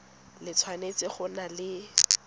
le tshwanetse go nna le